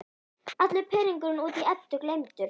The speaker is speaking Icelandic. Allur pirringur út í Eddu gleymdur.